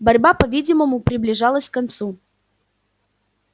борьба по видимому приближалась к концу